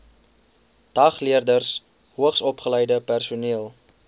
dagleerders hoogsopgeleide personeel